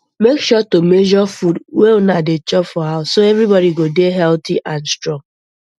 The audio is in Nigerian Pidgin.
make sure to measure food um wey una dey chop for house so everybody go dey healthy and strong um